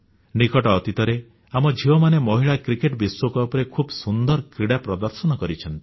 ନିକଟ ଅତୀତରେ ଆମ ଝିଅମାନେ ମହିଳା କ୍ରିକେଟ ବିଶ୍ୱକପରେ ଖୁବ ସୁନ୍ଦର କ୍ରୀଡ଼ା ପ୍ରଦର୍ଶନ କରିଛନ୍ତି